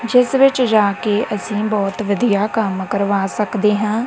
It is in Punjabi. ਜਿਸ ਵਿਚ ਜਾ ਕੇ ਅਸੀਂ ਬਹੁਤ ਵਧੀਆ ਕੰਮ ਕਰਵਾ ਸਕਦੇ ਹਾਂ।